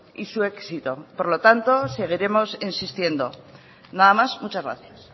y su éxito por lo tanto seguiremos insistiendo nada más muchas gracias